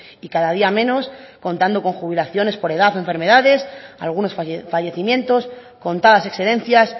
y cada día menos contando con jubilaciones por edad o enfermedades algunos fallecimientos contadas excedencias